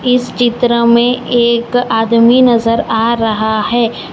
इस चित्र में एक आदमी नजर आ रहा है।